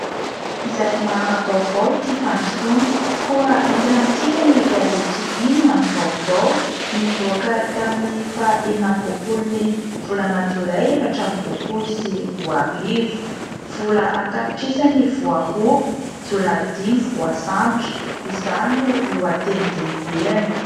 Izay mahara-baovao tia fandrosoana koa entina amintsika ny gazety inona ny vaovao nivoaka tamin'ny faha enina amby roapolo ny volana jolay efatra amby roapolo sy roa arivo : vola an-tapitrisany ny voaroba, jiolahy dimy voasambotra izany no lohatenin-dehibeany.